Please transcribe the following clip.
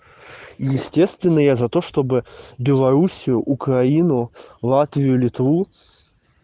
естественно я за то чтобы белоруссию украину латвию литву